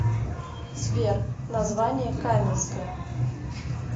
сбер название каменское